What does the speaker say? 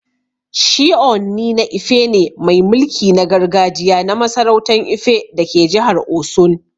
Shi Ooni na Ife ne mai mulki na gargajiya na masarautan Ife dake jihar Osun.